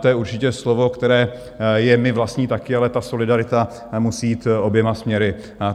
To je určitě slovo, které je mi vlastní také, ale ta solidarita musí jít oběma směry.